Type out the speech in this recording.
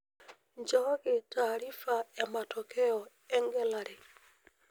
nchokii taarifa ematokeo egelare